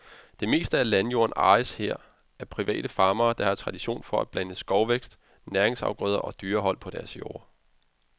Det meste af landjorden ejes her af private farmere, der har tradition for at blande skovvækst, næringsafgrøder og dyrehold på deres jorder.